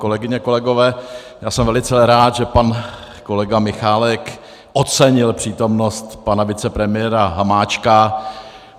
Kolegyně, kolegové, já jsem velice rád, že pan kolega Michálek ocenil přítomnost pana vicepremiéra Hamáčka.